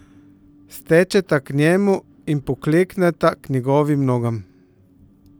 Stečeta k njemu in poklekneta k njegovim nogam.